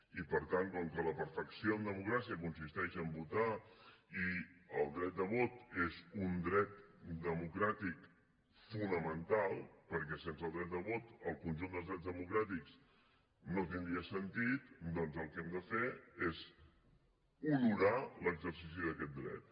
i per tant com que la perfecció en democràcia consisteix a votar i el dret de vot és un dret democràtic fonamental perquè sense el dret de vot el conjunt dels drets democràtics no tindria sentit doncs el que hem de fer és honorar l’exercici d’aquest dret